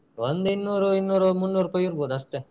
ಒಂದು ಇನ್ನೂರು ಇನ್ನೂರು ಮುನ್ನೂರು ರೂಪೈ ಇರ್ಬೋದು ಅಷ್ಟೆ.